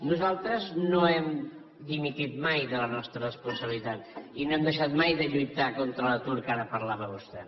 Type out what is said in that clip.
nosaltres no hem dimitit mai de la nostra responsabilitat i no hem deixat mai de lluitar contra l’atur que ara parlava vostè